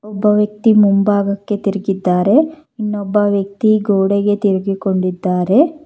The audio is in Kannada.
ಒಬ್ಬ ವ್ಯಕ್ತಿ ಮುಂಭಾಗಕ್ಕೆ ತಿರುಗಿದ್ದಾರೆ ಇನ್ನೊಬ್ಬ ವ್ಯಕ್ತಿ ಗೋಡೆಗೆ ತಿರುಗಿಕೊಂಡಿದ್ದಾರೆ.